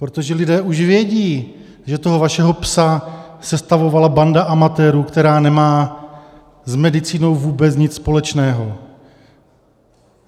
Protože lidé už vědí, že toho vašeho "psa" sestavovala banda amatérů, která nemá s medicínou vůbec nic společného.